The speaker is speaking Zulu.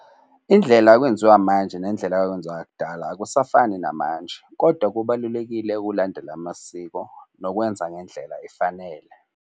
Indlela okwenziwa manje nendlela kwakwenziwa kudala akusafani namanje, kodwa kubalulekile ukulandela amasiko nokwenza ngendlela efanele.